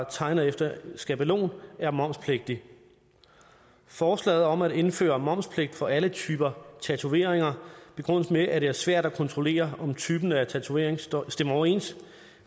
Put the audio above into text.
tegner efter skabelon er momspligtig forslaget om at indføre momspligt for alle typer tatoveringer begrundes med at det er svært at kontrollere om typen af tatovering stemmer overens